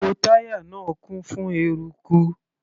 Gbogbo táyà náà kún fún eruku.